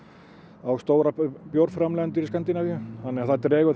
á stóra bjórframleiðendur í Skandinavíu þannig að það dregur þá